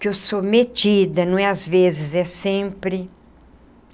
Que eu sou metida, não é às vezes, é sempre.